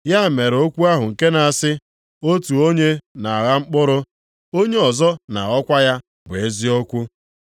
Ya mere okwu ahụ nke na-asị, ‘Otu onye na-agha mkpụrụ, onye ọzọ na-aghọkwa ya bụ eziokwu.’